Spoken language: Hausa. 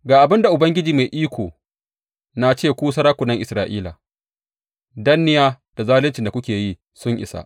Ga abin da Ubangiji Mai Iko na ce ku sarakunan Isra’ila, danniya da zaluncin da kuke yi sun isa!